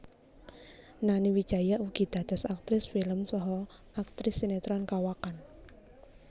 Nani Wijaya ugi dados aktris film saha aktris sinetron kawakan